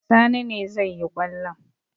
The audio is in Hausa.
Sani ne zai yi kwallon.